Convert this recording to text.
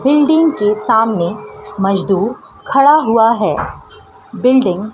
building के सामने मजदूर खड़ा हुआ है बिल्डिंग --